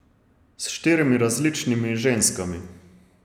S štirimi različnimi ženskami.